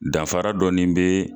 Danfara dɔni bee